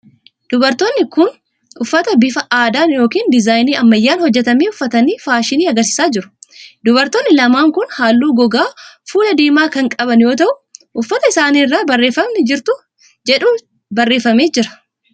Dubartoonni kun ,uffata bifa addaan yokin dizaayinii ammayyaan hojjatame uffatanii faashinii agarsiisaa jiru. Dubartoonni lamaan kun halluu gogaa fuulaa diimaa kan qaban yoo ta'u, uffata isaanii irra barreeffamni jirtuu jedhuu barreeffamee jira.